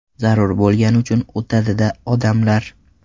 Zarur bo‘lgani uchun o‘tadi-da odamlar.